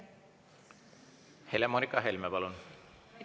Helle-Moonika Helme, palun!